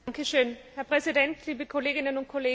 Herr Präsident, liebe Kolleginnen und Kollegen!